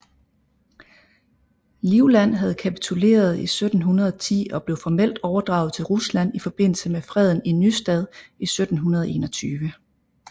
Livland havde kapituleret i 1710 og blev formelt overdraget til Rusland i forbindelse med Freden i Nystad i 1721